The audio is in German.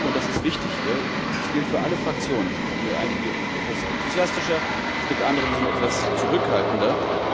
Und ich glaube, und das ist wichtig, das gilt für alle Fraktionen Es gibt einige, die sind etwas enthusiastischer, es gibt andere, die sind etwas zurückhaltender.